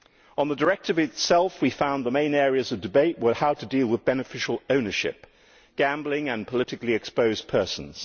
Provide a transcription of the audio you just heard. On the directive itself, we found that the main areas of debate were how to deal with beneficial ownership, gambling and politically exposed persons.